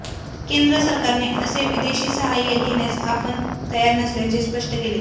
केंद्र सरकारने असे विदेशी साहाय्य घेण्यास आपण तयार नसल्याचे स्पष्ट केले